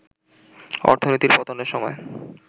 অর্থনীতির পতনের সময়